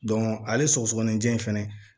ale sɔgɔsɔgɔni jɛ in fɛnɛ